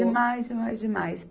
Demais, demais, demais.